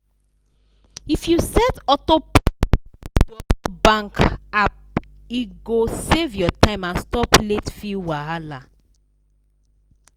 if you set auto pay dor bank app e go save your time and stop late fee wahala.